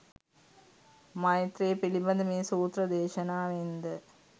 මෛත්‍රීය පිළිබඳ මේ සූත්‍ර දේශනාවෙන් ද